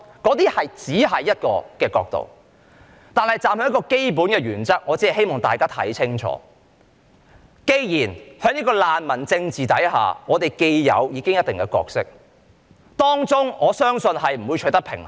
但是，在一個基本原則下，我只希望大家看清楚，既然我們在難民政治之下已經有一定的角色，我相信當中不會取得平衡。